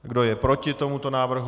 Kdo je proti tomuto návrhu?